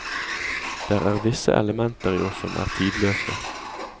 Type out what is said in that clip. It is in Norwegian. Der er visse elementer i oss som er tidløse.